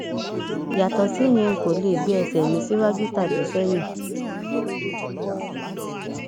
yàtọ síyẹn n kò lè gbé ẹsẹ mi síwájú tàbí sẹyìn